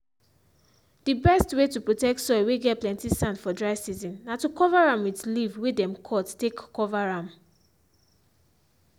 the best way to protect soil whey get plenty sand for dry season na to cover am with leave whey them cut take cover am.